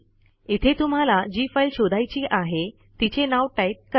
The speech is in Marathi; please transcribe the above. इथे तुम्हाला जी फाईल शोधायची आहे तिचे नाव टाईप करा